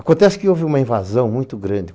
Acontece que houve uma invasão muito grande.